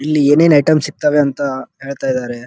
ಇಲ್ಲಿ ಏನೇನ್ ಐಟಂ ಸಿಗ್ತವೆ ಅಂತ ಹೇಳ್ತ ಇದ್ದಾರೆ.